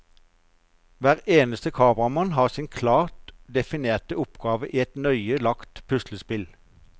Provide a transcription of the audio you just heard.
Hver eneste kameramann har sin klart definerte oppgave i et nøye lagt puslespill.